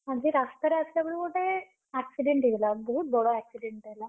ଆଜି ରାସ୍ତାରେ ଆସିଲାବେଳକୁ ଗୋଟେ, accident ହେଇଗଲା ବହୁତ୍ ବଡ accident ଟେ ହେଲା।